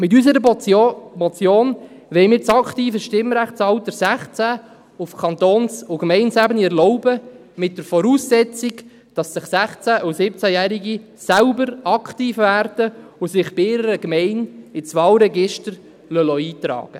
Mit unserer Motion wollen wir das aktive Stimmrechtsalter 16 auf Kantons- und Gemeindeebene erlauben, unter der Voraussetzung, dass 16- und 17-Jährige selbst aktiv werden und sich bei ihrer Gemeinde ins Wahlregister eintragen lassen.